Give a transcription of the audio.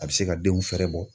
A bɛ se ka denw fɛɛrɛ bɔ.